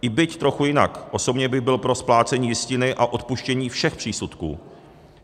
I byť trochu jinak, osobně bych byl pro splácení jistiny a odpuštění všech přísudků.